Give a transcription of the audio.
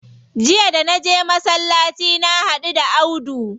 Jiya da naje masallaci na haɗu da Audu.